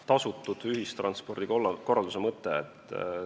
Tasutud ühistranspordi korralduse mõte?